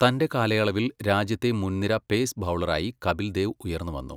തന്റെ കാലയളവിൽ രാജ്യത്തെ മുൻനിര പേസ് ബൗളറായി കപിൽ ദേവ് ഉയർന്നുവന്നു.